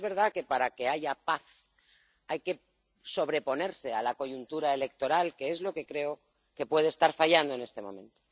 Pero es verdad que para que haya paz hay que sobreponerse a la coyuntura electoral, que es lo que creo que puede estar fallando en este momento.